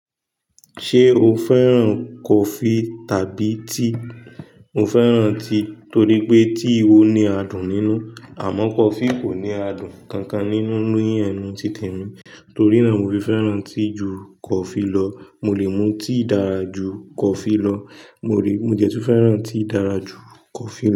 Ṣé o fẹ́ràn coffee tàbí tea? Mo fẹ́ràn tea torí pé tea òní adùn nínú, àmọ́ coffee kò ní adùn kankan nínú. Lóyin ẹnu ti tèmi, torí náà mo fi fẹ́ràn tea ju coffee lọ. Mo lè mu tea dára ju coffee lọ. Mo rí, mo dẹ̀tú fẹ́ràn tea dára ju coffee lọ.